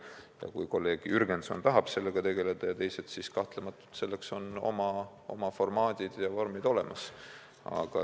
Aga kui kolleeg Jürgenson ja teised tahavad sellega tegeleda, siis kahtlematult selleks on oma formaadid ja vormid olemas.